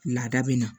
Laada bɛ na